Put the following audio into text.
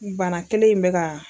Bana kelen in bɛ ka.